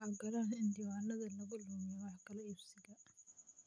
Ha ogolaan in diiwaanada lagu lumiyo wax kala iibsiga.